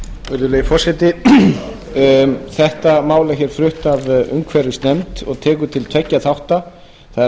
virðulegi forseti þetta mál er flutt af umhverfisnefnd og tekur til tveggja þátta það er